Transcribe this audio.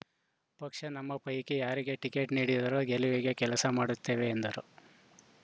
ಪಕ್ಷ ನಮ್ಮ ಪೈಕಿ ಯಾರಿಗೆ ಟಿಕೇಟ್‌ ನೀಡಿದರೂ ಗೆಲುವಿಗೆ ಕೆಲಸ ಮಾಡುತ್ತೇವೆ ಎಂದರು